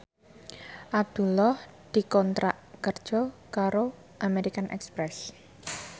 Abdullah dikontrak kerja karo American Express